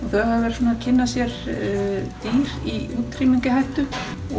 þau hafa verið svona að kynna sér dýr í útrýmingarhættu